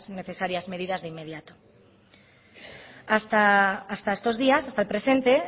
necesarias medidas de inmediato hasta estos días hasta presente